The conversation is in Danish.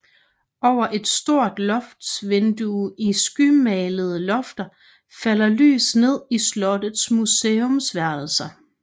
Over et stort loftsvindue i skymalede lofter falder lys ned i slottets museumsværelser